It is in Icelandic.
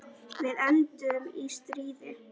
Við enduðum í stríði.